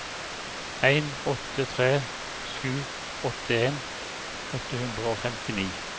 en åtte tre sju åttien åtte hundre og femtini